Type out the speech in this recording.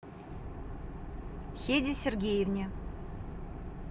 хеде сергеевне